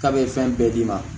K'a bɛ fɛn bɛɛ d'i ma